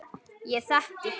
Ég þekki